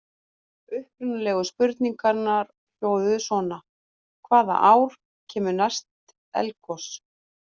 Upprunalegu spurningarnar hljóðuðu svona: Hvaða ár kemur næst eldgos?